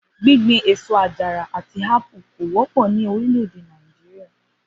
Gbíngbin èso àjàrà àti ápù kò wó̩pò̩ ní orílè̩-èdè Nàìjíríà